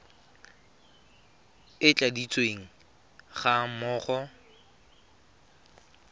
e e tladitsweng ga mmogo